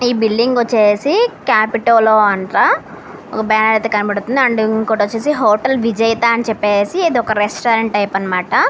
ఈ బిల్డింగు వచ్చేసి కాపిటటోలో అంట. బ్యానర్ కనబడుతుంది. అండ్ ఇంకోటి వచ్చేసి హోటల్ విజేత అని వచ్చేసి ఇదొక రెస్టారెంట్ టైప్ అన్నమాట.